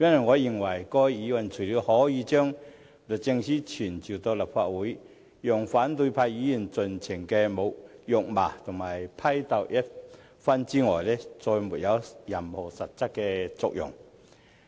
我認為該議案除了傳召律政司司長到立法會，讓反對派議員盡情辱罵批鬥一番外，再沒有任何實質作用。